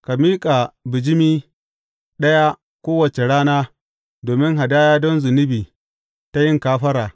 Ka miƙa bijimi ɗaya kowace rana domin hadaya don zunubi ta yin kafara.